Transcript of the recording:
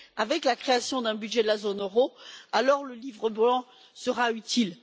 par la création d'un budget de la zone euro alors le livre blanc sera utile.